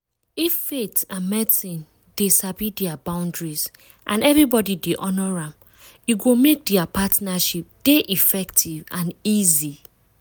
if faith and medicine dey sabi dia boundaries and everybody dey honour am e go make dia partnership dey effective and easy.